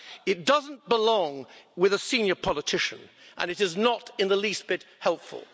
It doesn't befit a senior politician and it is not in the least bit helpful.